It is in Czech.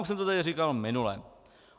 Už jsem to tady říkal minule.